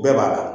Bɛɛ b'a dɔn